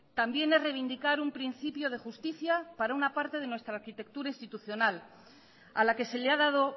también es reivindicar un principio de justicia para una parte de nuestra arquitectura institucional a la que se le ha dado